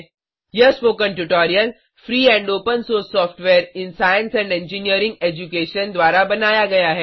यह spoken tutorial free and open source software in science and engineering education द्वारा बनाया गया है